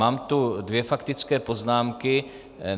Mám tu dvě faktické poznámky.